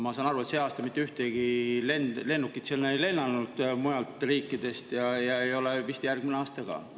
Ma saan aru, et sel aastal ei ole mitte ühtegi lennukit mujalt riikidest sinna lennanud ja ei vist järgmisel aastal ka.